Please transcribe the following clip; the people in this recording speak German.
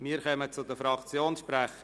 Wir kommen zu den Fraktionssprechern.